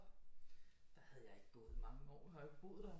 Der havde jeg ikke gået mange år nu har jeg jo ikke boet der